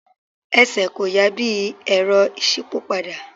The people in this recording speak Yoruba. Ẹsẹ̀ kò yà bí i Ẹ̀rọ ìṣípòpadà.